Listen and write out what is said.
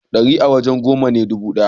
dari a waje goma ne dubu daya